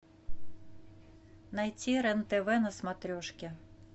найти рен тв на смотрешке